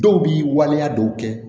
Dɔw b'i waleya dɔw kɛ